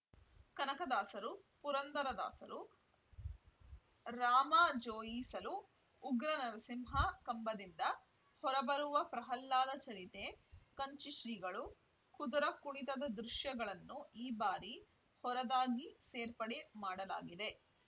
ಕನಕ ದಾಸರು ಪುರಂದರ ದಾಸರು ರಾಮಾ ಜೋಯಿಸಲು ಉಗ್ರ ನರಸಿಂಹ ಕಂಬದಿಂದ ಹೊರ ಬರುವ ಪ್ರಹಲ್ಲಾದ ಚರಿತೆ ಕಂಚಿ ಶ್ರೀಗಳು ಕುದುರ ಕುಣಿತದ ದೃಶ್ಯಗಳನ್ನು ಈ ಬಾರಿ ಹೊರದಾಗಿ ಸೇರ್ಪಡೆ ಮಾಡಲಾಗಿದೆ